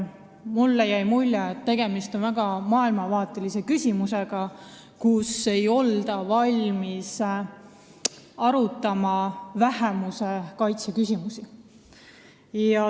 Mulle jäi mulje, et tegemist oli väga maailmavaatelise küsimusega, ei oldud valmis arutama vähemuse kaitse küsimusi.